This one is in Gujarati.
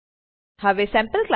હવે સેમ્પલક્લાસ